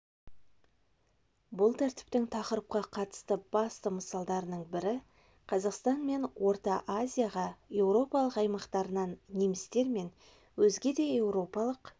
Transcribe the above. бұл тәртіптің тақырыпқа қатысты басты мысалдарының бірі қазақстан мен орта азияға еуропалық аймақтарынан немістер мен өзге де еуропалық